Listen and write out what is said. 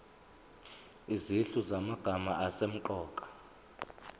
izinhlu zamagama asemqoka